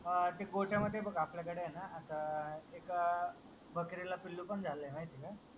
अह ते गोठ्यामध्ये बघ आपल्याकडे आहे ना आता आह एका बकरीला पिल्लू पण झालंय माहित आहे का?